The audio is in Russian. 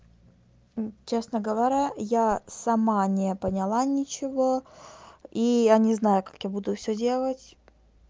честно говоря я сама не поняла ничего и я не знаю как я буду все делать